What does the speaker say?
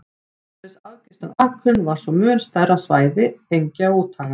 Umhverfis afgirtan akurinn var svo mun stærra svæði engja og úthaga.